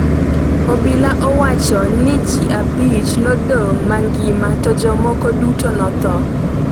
obila owacho ni ji abich nodong’ mangima to jomoko duto notho.